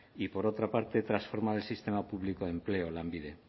y por otra parte transformar el sistema público de empleo lanbide